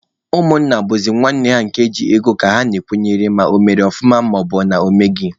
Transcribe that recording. Ụmụnna bụzị nwanne ha nke ji ego ka ha na-akwụnyere ma ọ mere ọfụma maọbụna ọ meghị.